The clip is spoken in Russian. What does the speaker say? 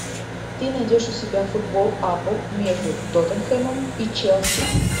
ты найдешь у себя футбол апл между тоттенхэмом и челси